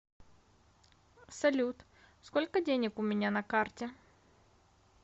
салют сколько денег у меня на карте